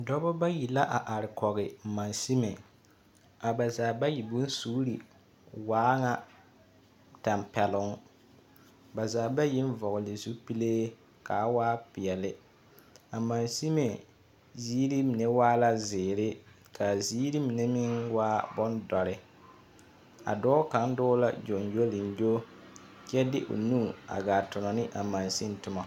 Dɔba bayi la a are kɔge masime. A ba zaa bayi bonsuuri waa ŋa tampɛloŋ. Ba zaa byiŋ vɔgele zupile ka a waa peɛle. A mansime ziiri mine waa zeere ka a ziiri mine meŋ waa bondoɔre a dɔɔ kaŋa dɔɔ la gyoŋgyoliŋgyo kyɛ de nu a gaa ton ne a mansiŋ toma.